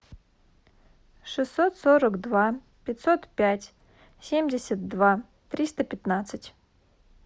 шестьсот сорок два пятьсот пять семьдесят два триста пятнадцать